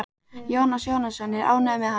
Jónas Jónsson er ánægður með hana.